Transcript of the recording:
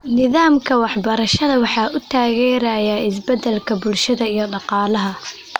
Nidaamka waxbarashada waxa uu taageerayaa isbeddelka bulshada iyo dhaqaalaha.